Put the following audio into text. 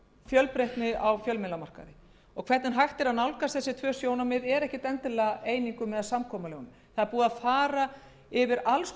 fjölbreytni á fjölmiðlamarkaði það er ekki endilega eining eða samkomulag um hvernig á að nálgast þessi tvö sjónarmið það er búið að fara yfir alls